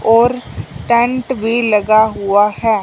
और टैंट भी लगा हुआ हैं।